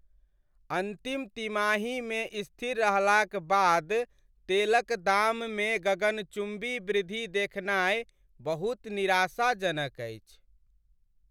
अन्तिम तिमाहीमे स्थिर रहलाक बाद तेलक दाममे गगनचुम्बी वृद्धि देखनाय बहुत निराशाजनक अछि।